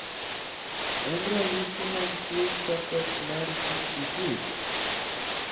en ranyisi mag mag tuo Charcot Marie Tooth Disease?